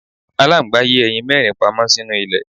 Aláǹgbá yé ẹyin mẹ́rin pamọ́ sínú ilẹ̀.